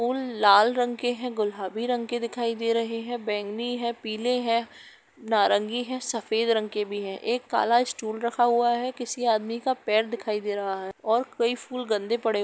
फूल लाल रंग के हैं गुलाबी रंग दिखाई दे रहे हैं बेगनी है पिले है नारंगी है सफ़ेद रंग के भी हैं एक काला स्टूल रखा हुआ है किसी आदमी का पैर दिखाई दे रहा है और कइ फूल गंदे पड़े हुए --